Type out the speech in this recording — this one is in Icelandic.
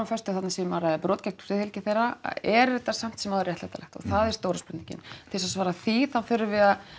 föstu að þarna sé um að ræða brot gegn friðhelgi þeirra er þetta samt sem áður réttlætanlegt og það er stóra spurningin til þess að svara því þurfum við að